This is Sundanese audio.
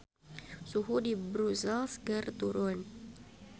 Suhu di Brussels keur turun